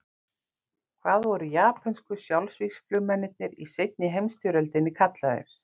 Hvað voru japönsku sjálfsvígsflugmennirnir í seinni heimsstyrjöldinni kallaðir?